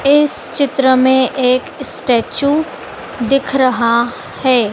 इस चित्र में एक स्टैचू दिख रहा है।